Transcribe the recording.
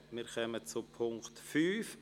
Wir kommen zum Punkt 5.